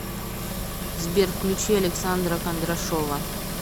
сбер включи александра кондрашова